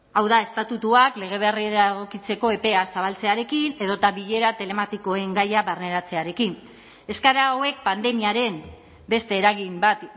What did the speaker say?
hau da estatutuak lege berrira egokitzeko epea zabaltzearekin edota bilera telematikoen gaia barneratzearekin eskaera hauek pandemiaren beste eragin bat